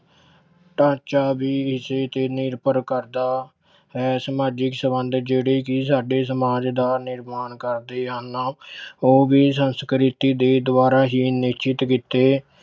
ਢਾਂਚਾ ਵੀ ਇਸੇ ਤੇ ਨਿਰਭਰ ਕਰਦਾ ਹੈ, ਸਮਾਜਿਕ ਸੰਬੰਧ ਜਿਹੜੇ ਕਿ ਸਾਡੇ ਸਮਾਜ ਦਾ ਨਿਰਮਾਣ ਕਰਦੇ ਹਨ ਉਹ ਵੀ ਸੰਸਕ੍ਰਿਤੀ ਦੇ ਦੁਆਰਾ ਹੀ ਨਿਸ਼ਚਿਤ ਕੀਤੈ